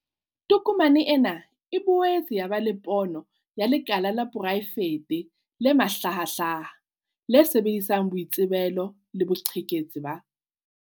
Tokomane ena e boetse ya ba le pono ya 'lekala la poraefete le mahlahahlaha, le sebedisang boitsebelo le boqhetseke ba